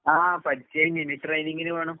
ആഹ് പഠിച്ച് കഴിഞ്ഞ്, ഇനി ട്രെയിനിങ്ങിന് പോണം.